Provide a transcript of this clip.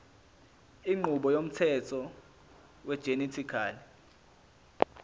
inqubo yomthetho wegenetically